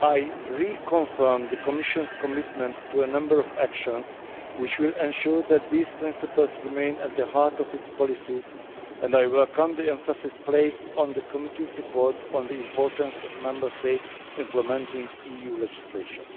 I re confirm the Commission's commitment to a number of actions which will ensure that these principles remain at the heart of its policies, and I welcome the emphasis placed in the committee's report on the importance of Member States implementing EU legislation.